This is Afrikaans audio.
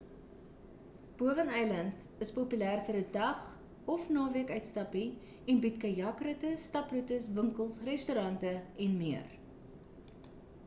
bowen-eiland is populêr vir 'n dag of naweek-uitstappie en bied kajak-ritte staproetes winkels restaurante en meer